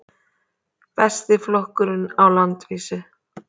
Besti flokkurinn á landsvísu